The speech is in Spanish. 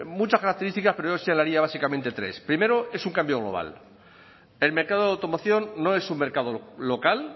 muchas características pero yo señalaría básicamente tres primero es un cambio global el mercado de automoción no es un mercado local